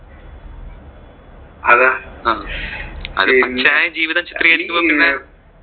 അതാ അത് അത് പച്ചയായ ജീവിതം ചിത്രീകരിക്കുമ്പോൾ പിന്നെ